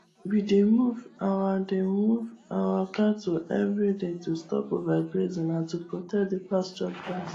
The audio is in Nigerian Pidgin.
we dey move our dey move our cattle everyday to stop overgrazing and to protect the pasture grass